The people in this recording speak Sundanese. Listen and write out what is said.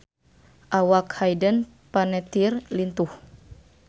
Awak Hayden Panettiere lintuh